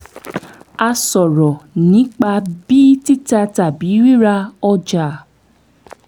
a sọ̀rọ̀ nípa bí títà tàbí rírí ọja